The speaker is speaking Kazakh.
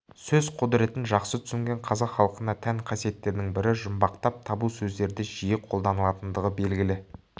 сөз құдіретін жақсы түсінген қазақ халқына тән қасиеттердің бірі жұмбақтап табу сөздерді жиі қолданылатындығы белгілі